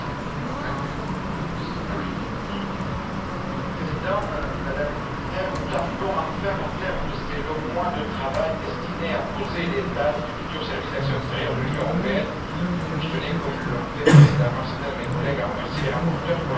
Monsieur le Président, Madame la Commissaire, nous arrivons enfin au terme de ces longs mois de travail destiné à poser les bases du futur service d'action extérieure de l'Union européenne mais je tenais, comme l'ont fait précédemment certains de mes collègues, à remercier les rapporteurs pour la qualité de leur travail.